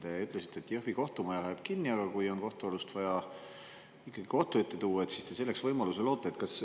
Te ütlesite, et Jõhvi kohtumaja läheb kinni, aga kui on ikkagi vaja kohtualune kohtu ette tuua, siis te selleks võimaluse loote.